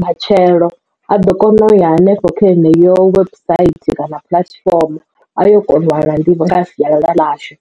matshelo a ḓo kona u ya hanefho kha ene yo website kana puḽatifomo a yo kona u wana nḓivho nga ha sialala ḽashu.